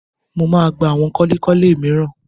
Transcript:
Mo máa gba àwọn kọ́lékọ́lé mìíràn